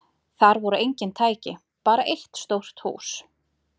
Þar voru engin tæki, bara eitt stórt hús.